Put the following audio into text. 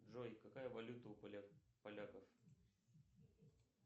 джой какая валюта у поляков